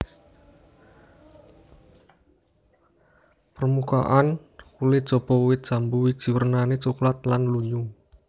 Permukaan kulit jaba wit jambu wiji wernané coklat lan lunyu